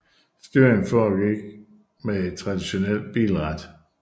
Styringen forgik med et traditionelt bilrat